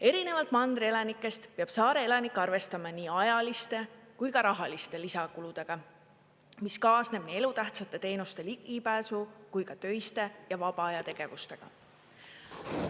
Erinevalt mandri elanikest peab saare elanik arvestama nii ajaliste kui ka rahaliste lisakuludega, mis kaasneb nii elutähtsate teenuste ligipääsu kui ka töiste ja vaba aja tegevustega.